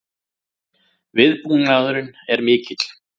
Viðbúnaðurinn er mikill